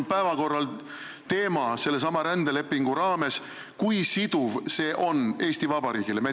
Selle rändelepingu raames on päevakorral teema, kui siduv see leping Eesti Vabariigile on.